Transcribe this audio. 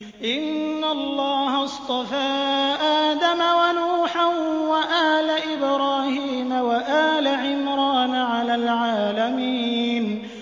۞ إِنَّ اللَّهَ اصْطَفَىٰ آدَمَ وَنُوحًا وَآلَ إِبْرَاهِيمَ وَآلَ عِمْرَانَ عَلَى الْعَالَمِينَ